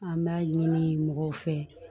An b'a ɲini mɔgɔw fɛ